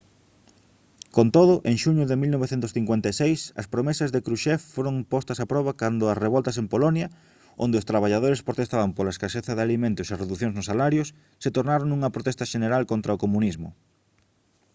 con todo en xuño de 1956 as promesas de krushchev foron postas a proba cando as revoltas en polonia onde os traballadores protestaban pola a escaseza de alimentos e reducións nos salarios se tornaron nunha protesta xeneral contra o comunismo